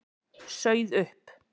Sauð upp.